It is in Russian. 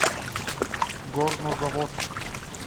горнозаводск